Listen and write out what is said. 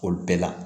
Olu bɛɛ la